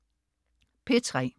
P3: